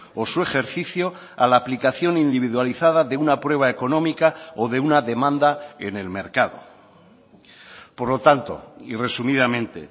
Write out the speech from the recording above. o su ejercicio a la aplicación individualizada de una prueba económica o de una demanda en el mercado por lo tanto y resumidamente